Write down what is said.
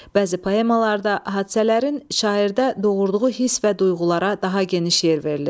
Bəzi poemalarda hadisələrin şairdə doğurduğu hiss və duyğulara daha geniş yer verilir.